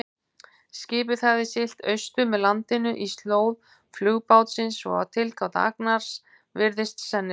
Skipið hafði siglt austur með landinu í slóð flugbátsins, svo að tilgáta Agnars virðist sennileg.